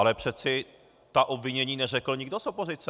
Ale přece ta obvinění neřekl nikdo z opozice!